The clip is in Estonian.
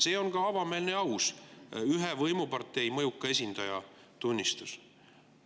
See on ühe võimupartei mõjuka esindaja avameelne ja aus tunnistus.